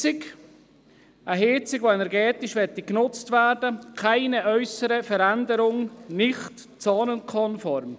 Eine Heizung, die energetisch genutzt werden sollte, ohne äussere Veränderung, gilt als nicht zonenkonform.